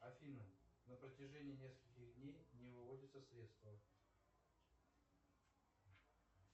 афина на протяжении нескольких дней не выводятся средства